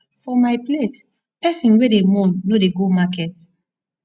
for my place pesin wey dey mourn no dey go market